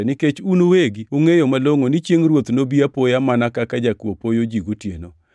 nikech un uwegi ungʼeyo malongʼo ni chiengʼ Ruoth nobi apoya mana kaka jakuo poyo ji gotieno.